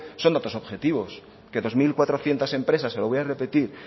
son de otros objetivos que dos mil cuatrocientos empresas se lo voy a repetir